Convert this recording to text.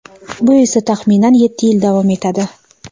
bu esa taxminan yetti yil davom etadi.